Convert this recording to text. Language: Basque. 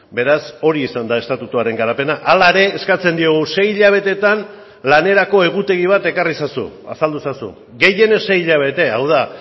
beraz hori izan da estatutuaren garapena hala ere eskatzen diogu sei hilabetetan lanerako egutegi bat ekarri ezazu azaldu ezazu gehienez sei hilabete hau da